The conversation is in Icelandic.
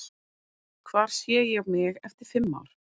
Hvar sé ég mig eftir fimm ár?